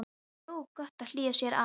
Það er nú gott að hlýja sér aðeins.